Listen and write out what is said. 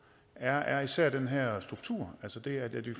er især den her struktur altså det at vi